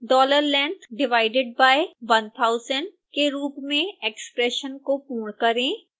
$length divided by 1000 के रूप में एक्स्प्रेशन को पूर्ण करें